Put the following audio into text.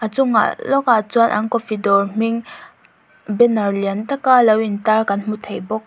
chungah lawk ah chuan an coffee dawr hming banner lian tak a lo in tar kan hmu thei bawk.